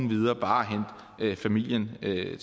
ville